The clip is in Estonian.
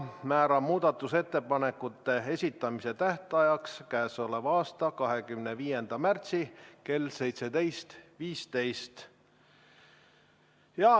Määran muudatusettepanekute esitamise tähtajaks k.a 25. märtsi kell 17.15.